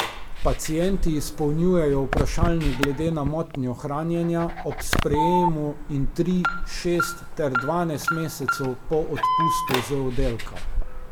Pacienti izpolnjujejo vprašalnik glede na motnjo hranjenja, ob sprejemu in tri, šest ter dvanajst mesecev po odpustu z oddelka.